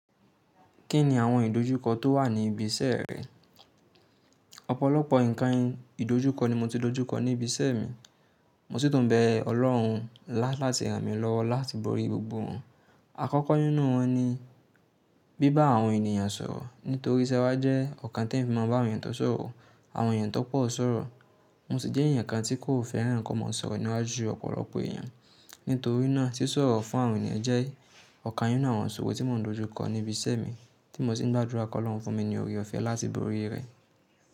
Kí ni àwọn ìdojúkọ tó wà ní ibi iṣẹ́ rẹ? Ọ̀pọ̀lọpọ̀ ǹkan ìdojúkọ ni mo ti dojúkọ ní ibi iṣẹ́ mi, mo sì tún bẹ Ọlọ́run láti ràn mí lọ́wọ́ láti borí gbogbo wọn. Àkọ́kọ́ nínú wọn ni bíbá àwọn ènìyàn sọ̀rọ̀. Nítorí iṣẹ́ wa jẹ́ ọ̀kan tí ẹ̀mi fi máa ń bá àwọn èèyàn tó sọ̀rọ̀, àwọn èèyàn tó pọ̀ sọ̀rọ̀. Mo sì jẹ́ èèyàn kan tí kò fẹ́ràn kí o máa sọ̀rọ̀ niwa ju ọ̀pọ̀lọpọ̀ èèyàn. Nítorí náà, ṣí sọ̀rọ̀ fún àwọn èniyàn jẹ́ ọ̀kan nínú àwọn ìṣòro tí mò ń dojú kọ ní ibi iṣẹ́ mi tí mo sì ń gbàdúrà kí Ọlọ́run fún mi ní oore ọ̀fẹ́ láti borí rẹ̀.